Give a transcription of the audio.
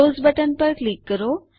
close button પર click કરો